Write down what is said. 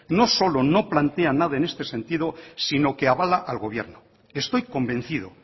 no solo no plantea nada en este sentido sino que avala al gobierno estoy convencido